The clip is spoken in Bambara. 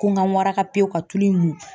Ko n kan waraka pewu ka tulu in mun.